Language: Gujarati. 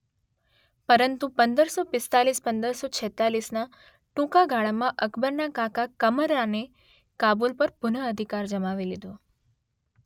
પરંતુ પંદરસો પિસ્તાળીસ પંદરસો છેંતાળીસના ટુંકા ગાળામાં અકબરના કાકા કમરાનએ કાબુલ પર પુન અધિકાર જમાવી લીધો.